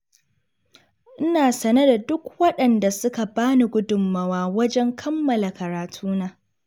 Ina sane da duk waɗanda suka bani gudunmawa wajen kammala karatuna.